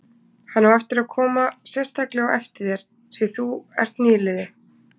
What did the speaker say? Hann á eftir að koma sérstaklega á eftir þér, því þú ert nýliði.